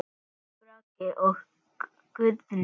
Örn Bragi og Guðný.